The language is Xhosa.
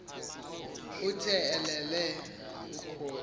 uthe elele ukhwozi